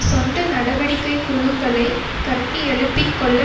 சொந்த நடவடிக்கை குழுக்களை கட்டியெழுப்பிக்கொள்ள